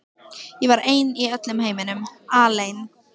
Ég var ein í öllum heiminum, alein.